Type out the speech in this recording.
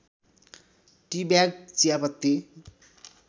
tea bag चियापत्ति